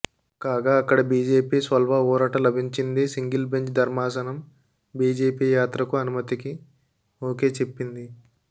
కాగా అక్కడ బీజేపీ స్వల్వ ఊరట లభించింది సింగిల్ బెంచ్ ధర్మాసనం బీజేపీ యాత్రకు అనుమతికి ఓకే చెప్పింది